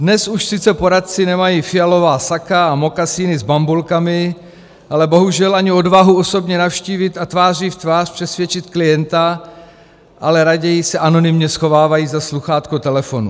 Dnes už sice poradci nemají fialová saka a mokasíny s bambulkami, ale bohužel ani odvahu osobně navštívit a tváří v tvář přesvědčit klienta, ale raději se anonymně schovávají za sluchátko telefonu.